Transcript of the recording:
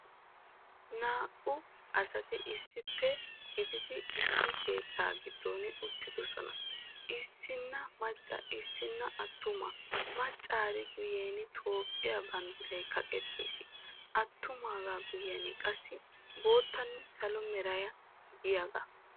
Naa"u asati issippe gididi issi keettaa giddon uttidosona. Issinna macca issinna attuma maccaari guyen Toophphiya banddiray kaqqettiis. Atummagaa guyen qassi boottanne salo meray diyoga.